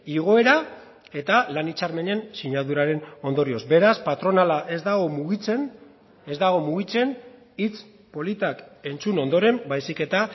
igoera eta lan hitzarmenen sinaduraren ondorioz beraz patronala ez dago mugitzen ez dago mugitzen hitz politak entzun ondoren baizik eta